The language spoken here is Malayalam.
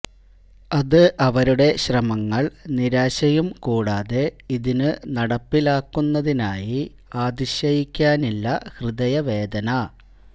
അതു അവരുടെ ശ്രമങ്ങൾ നിരാശയും കൂടാതെ ഇതിനു നടപ്പിലാക്കുന്നതിനായി ആ അതിശയിക്കാനില്ല ഹൃദയവേദന